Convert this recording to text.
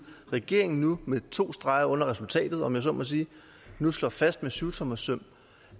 at regeringen nu med to streger under resultatet om jeg så må sige slår fast med syvtommersøm